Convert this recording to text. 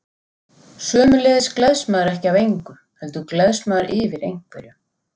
Sömuleiðis gleðst maður ekki af engu, heldur gleðst maður yfir einhverju.